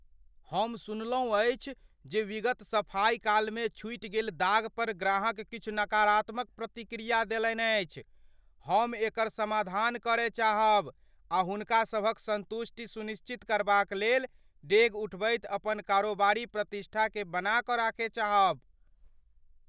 हम सुनलहुँ अछि जे विगत सफाइकालमे छूटि गेल दाग पर ग्राहक किछु नकारात्मक प्रतिक्रिया देलनि अछि। हम एकर समाधान करय चाहब आ हुनका सभक सन्तुष्टि सुनिश्चित करबाक लेल डेग उठबैत अपन कारोबारी प्रतिष्ठाकेँ बनाक राखय चाहब।